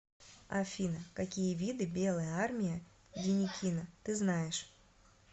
афина какие виды белая армия деникина ты знаешь